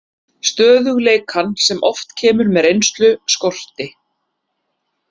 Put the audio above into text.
Stöðugleikann, sem oft kemur með reynslu, skorti.